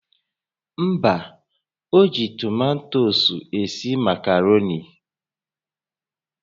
Mba, o ji tomato esi makaroni